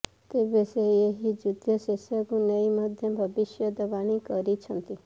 ତେବେ ସେ ଏହି ଯୁଦ୍ଧ ଶେଷକୁ ନେଇ ମଧ୍ୟ ଭବିଷ୍ୟତବାଣୀ କରିଛନ୍ତି